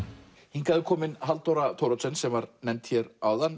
hingað er komin Halldóra Thoroddsen sem var nefnd hér áðan